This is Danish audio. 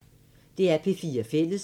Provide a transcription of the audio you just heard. DR P4 Fælles